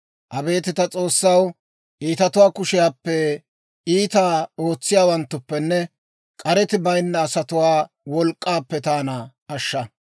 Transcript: Abeet ta S'oossaw, iitatuwaa kushiyaappe, Iitaa ootsiyaawanttuppenne k'areti bayinna asatuwaa wolk'k'aappe taana ashsha.